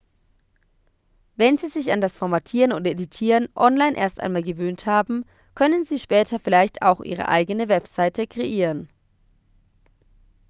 wenn sie sich an das formatieren und editieren online erst einmal gewöhnt haben können sie später vielleicht auch ihre eigene webseite kreieren